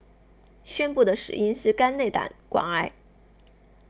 宣布的死因是肝内胆管癌